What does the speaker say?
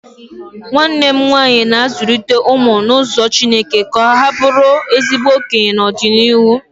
Nwanne m nwaanyị na-azụlite ụmụ n'ụzọ chineke ka ha bụrụ ezigbo okenye n'ọdịnịhu